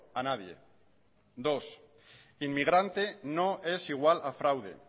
a nadie dos inmigrante no es igual a fraude